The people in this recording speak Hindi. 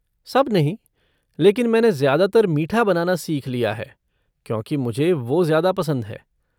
सब नहीं, लेकिन मैंने ज़्यादातर मीठा बनाना सीख लिया है, क्योंकि मुझे वो ज़्यादा पसंद है।